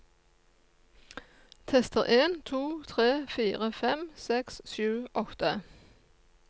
Tester en to tre fire fem seks sju åtte